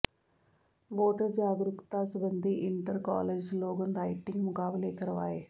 voter ਜਾਗਰੂਕਤਾ ਸਬੰਧੀ inter college slogan writing ਮੁਕਾਬਲੇ ਕਰਵਾਏ